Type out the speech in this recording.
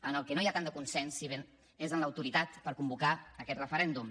en el que no hi ha tant de consens si bé és en l’autoritat per convocar aquest referèndum